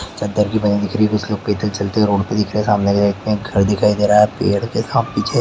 चद्दर की बनी दिख रही हे कुछ लोग पेदल चलते रोड पे दिखाई दे रहा है सामने एक घर दिखाई दे रहा हे पेड़ के साम- पीछे--